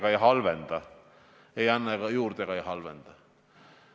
Ja veel kord, loomulikult ei saa see kesta üle 2050. aasta, see on arusaadav.